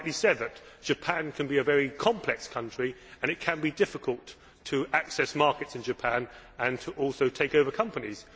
You rightly said that Japan can be a very complex country, and it can be difficult to access markets in Japan and also to take over companies.